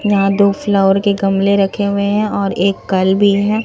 यहां दो फ्लावर के गमले रखे हुए हैं और एक कल भी है।